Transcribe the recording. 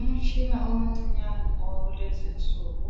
Umtshina omncinyane owakulezi insuku,